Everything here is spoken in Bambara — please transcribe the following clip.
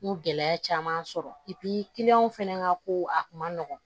N y'o gɛlɛya caman sɔrɔ fɛnɛ ka ko a kun ma nɔgɔn